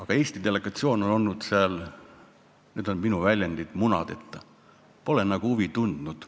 Kuid Eesti delegatsioon on olnud seal – nüüd on minu väljend – munadeta, pole huvi tundnud.